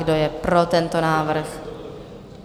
Kdo je pro tento návrh?